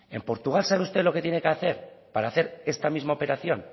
en portugal sabe usted lo que tiene que hacer para hacer esta misma operación